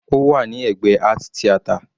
Ó wà ní ẹ̀gbẹ́ art theater.